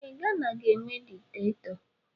Ee, Gana ga-enwe dikitatọ.